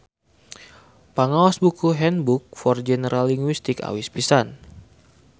Pangaos buku handbook for general linguistics awis pisan